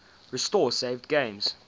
restore saved games